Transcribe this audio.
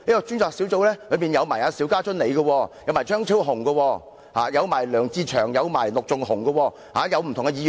專責小組成員包括張超雄議員、梁志祥議員、陸頌雄議員和我。